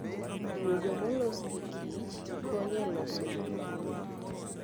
Duogo molos gi Kich konyo e loso gik manyien.